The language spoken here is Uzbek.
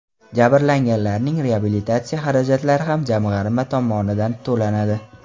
Jabrlanganlarning reabilitatsiya xarajatlari ham jamg‘arma tomonidan to‘lanadi.